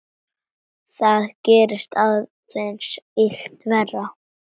Það gerði aðeins illt verra.